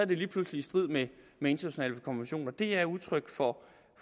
det lige pludselig i strid med med internationale konventioner det er udtryk for